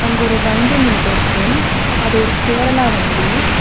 அங்க ஒரு வண்டி நின்னுட்டு இருக்கு அது ஒரு கேரளா வண்டி.